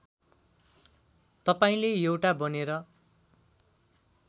तपाईँले एउटा बनेर